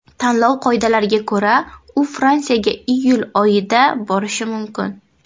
Tanlov qoidalariga ko‘ra, u Fransiyaga iyul oyida borishi mumkin.